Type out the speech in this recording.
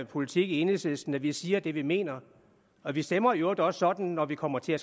politik i enhedslisten at vi siger det vi mener og vi stemmer i øvrigt også sådan når vi kommer til at